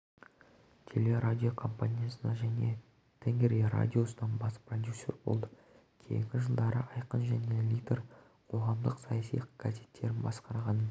телерадиокомпаниясында және тенгри радиосында бас продюсер болды кейінгі жылдары айқын және литер қоғамдық-саяси газеттерін басқарғанын